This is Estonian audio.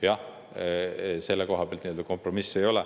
Jah, selle koha pealt kompromissi ei ole.